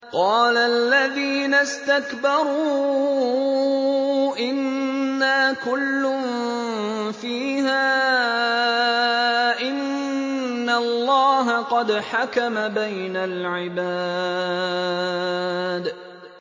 قَالَ الَّذِينَ اسْتَكْبَرُوا إِنَّا كُلٌّ فِيهَا إِنَّ اللَّهَ قَدْ حَكَمَ بَيْنَ الْعِبَادِ